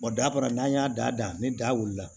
dafara n'an y'a da ni da wulila